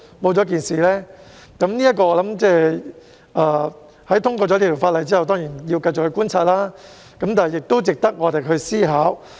我認為在《條例草案》通過之後，當然要繼續觀察，但這點亦值得我們思考。